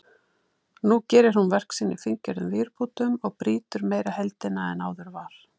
Nú gerir hún verk sín í fíngerðum vírbútum og brýtur meira heildina en áður var.